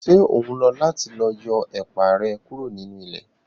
Ṣe o n lọ láti lọ yọ ẹ̀pà rẹ kúrò nínú ilẹ̀?